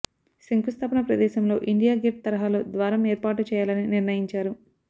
శంకుస్థాపన ప్రదేశంలో India Gate తరహాలో ద్వారం ఏర్పాటు చేయాలని నిర్ణయించారు